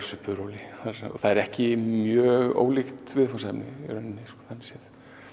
svipuðu róli það er ekki mjög ólíkt viðfangsefni þannig séð